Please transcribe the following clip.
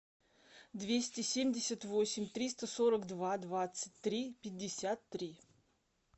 двести семьдесят восемь триста сорок два двадцать три пятьдесят три